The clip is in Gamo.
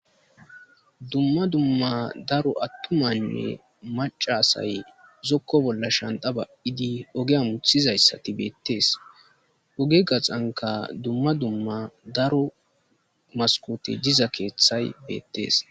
dumma dumma daro attumanne macasay zokko bolla shanta ba7idi ogea muthizayssati beettees oge gaxanka dumma dumma daro maskote diza keeththay beettees